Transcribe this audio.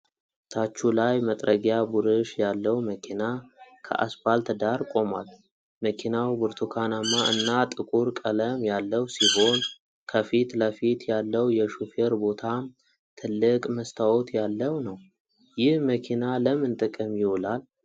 ታቹ ላይ መጥረጊያ ቡርሽ ያለው መኪና ከአስፓልት ዳር ቆሟል። መኪናው ብርቱካናማ እና ጥቁር ቀለም ያለው ሲሆን ከፊት ለፊት ያለው የሹፌር ቦታም ትልቅ መስታወት ያለው ነው። ይህ መኪና ለምን ጥቅም ይውላል?